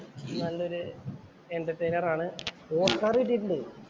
നല്ലൊരു എന്റേർട്രയിനേർ ആണ്. ഓസ്കാര്‍ കിട്ടിയിട്ടുണ്ട്.